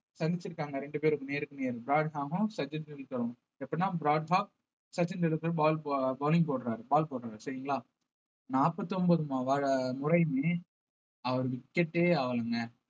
சந்திச்சிருக்காங்க ரெண்டு பேரும் நேருக்கு நேர் பிராட் ஹாக்கும் சச்சின் டெண்டுல்கரும் எப்படின்னா பிராட் ஹாக் சச்சின் டெண்டுல்கர்க்கு ball போ~ bowling போடுறாரு ball போடறாரு சரிங்களா நாற்பத்தி ஒன்பது முறையுமே அவர் wicket ஏ ஆகலைங்க